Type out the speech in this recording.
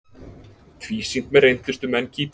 Tvísýnt með reyndustu menn Kýpur